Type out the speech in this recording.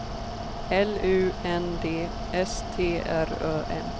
L U N D S T R Ö M